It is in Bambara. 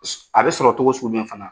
A bɛ sɔrɔ togo sugu jumɛn fana?